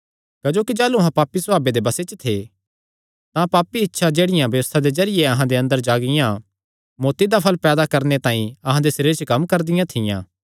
क्जोकि जाह़लू अहां पापी सभावे दे बसे च थे तां पापी इच्छां जेह्ड़ियां व्यबस्था दे जरिये अहां दे अंदर जागियां मौत्ती दा फल़ पैदा करणे तांई अहां दे सरीरां च कम्म करदियां थियां